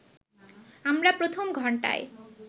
আমরা প্রথম ঘন্টায়